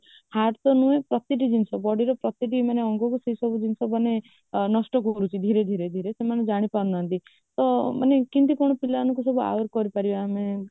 heart ତ ନୁହେଁ ପ୍ରତି ଟି ଜିନିଷ body ପ୍ରତୀଟି ମାନେ ଆଙ୍ଗକୁ ସେ ସବୁ ଜିନିଷ ମାନେ ନଷ୍ଟ କରୁଛି ଧୀରେ ଧୀରେ ଧୀରେ ସେମାନେ ଜାଣିପାରୁନାହାନ୍ତି ତ କେମିତି କଣ ପିଲାମାନଙ୍କୁ ସବୁ aware କରିପାରିବା ଆମେ